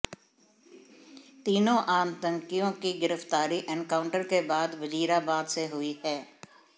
तीनों आतंकियों की गिरफ्तारी एनकाउंटर के बाद वजीराबाद से हुई है